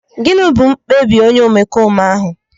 Gịnị bụ mkpebi onye omekome ahụ?